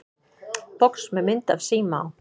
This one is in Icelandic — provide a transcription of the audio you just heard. Box með mynd af síma á.